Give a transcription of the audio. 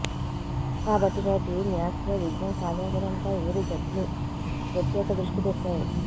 కాబట్టి నేటి మ్యాచ్లో విజయం సాధించడంపై ఇరు జట్లు ప్రత్యేక దృష్టి పెట్టాయి